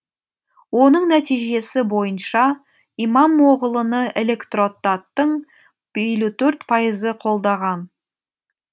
оның нәтижесі бойынша имамоғлыны электротаттың елу төрт пайызы қолдаған